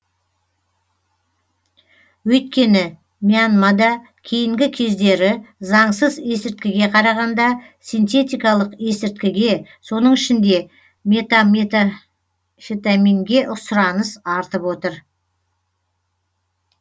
өйткені мьянмада кейінгі кездері заңсыз есірткіге қарағанда синтетикалық есірткіге соның ішінде метамфетаминге сұраныс артып отыр